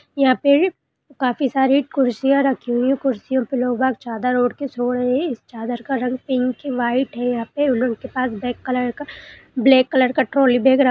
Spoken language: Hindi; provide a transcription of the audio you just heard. यहां पे काफी सारी कुर्सियां रखी हुई है कुर्सियों पे लोग वाग चादर ओढ़ कर सो रहे हैं इस चादर का रंग पिंक वाइट है यहा पे उनके पास ब्लैक कलर का ब्लैक कलर का ट्राली बैग र--